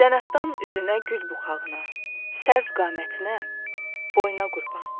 Zənaxdan üzünə, gül buxağına, Sərv qamətinə, boyuna qurban.